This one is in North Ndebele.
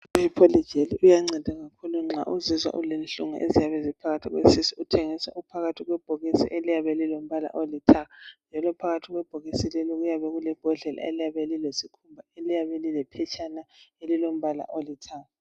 Ipholijeli iyanceda kakhulu nxa uzizwa ulenhlungu eziyabe ziphakathi kwesisu uthengiswa uphakathi kwebhokisi eliyabe lilombala olithanga, njalo phakathi kwe bhokisi lelo kuyabe kule bhodlela eliyabe lilephetshana elilombala olithanga.